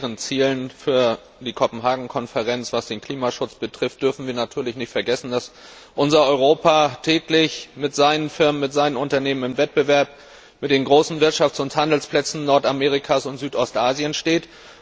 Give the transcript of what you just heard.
Bei allen hehren Zielen für die Kopenhagen Konferenz Was den Klimaschutz betrifft, dürfen wir natürlich nicht vergessen, dass unser Europa täglich mit seinen Firmen und seinen Unternehmen im Wettbewerb mit den großen Wirtschafts und Handelsplätzen Nordamerikas und Südostasiens steht.